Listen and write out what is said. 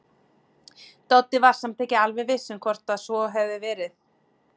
Doddi var samt ekki alveg viss um hvort svo hefði verið.